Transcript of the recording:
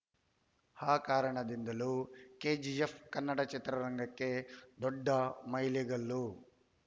ಆ ಕಾರಣದಿಂದಲೂ ಕೆಜಿಎಫ್‌ ಕನ್ನಡ ಚಿತ್ರರಂಗಕ್ಕೆ ದೊಡ್ಡ ಮೈಲಿಗಲ್ಲು